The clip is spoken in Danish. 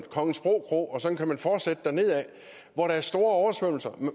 kongensbro kro og sådan kan man fortsætte dernedad hvor der er store oversvømmelser